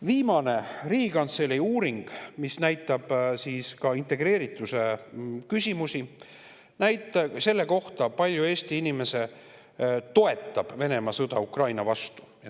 Viimane Riigikantselei uuring integreerituse küsimusi ja näitab, kui palju Eesti inimesi toetab Venemaa sõda Ukraina vastu.